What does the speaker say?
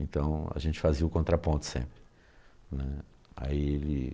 Então a gente fazia o contraponto sempre, né. Aí ele